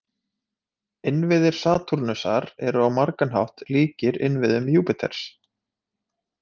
Innviðir Satúrnusar eru á margan hátt líkir innviðum Júpíters.